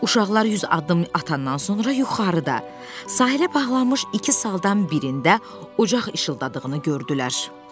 Uşaqlar yüz addım atandan sonra yuxarıda sahilə bağlanmış iki saldan birində ucq işıldadığını gördülər.